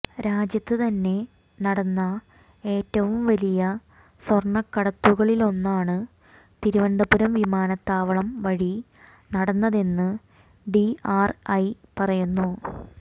രാജ്യത്ത് തന്നെ നടന്ന ഏറ്റവും വലിയ സ്വര്ണ കടത്തുകളിലൊന്നാണ് തിരുവനന്തപുരം വിമാത്താവളം വഴി നടന്നതെന്ന് ഡിആര്ഐ പറയുന്നു